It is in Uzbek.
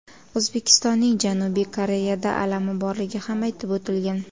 O‘zbekistonning Janubiy Koreyada alami borligi ham aytib o‘tilgan.